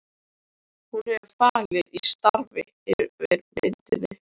Hún hefur fallið í stafi yfir myndinni.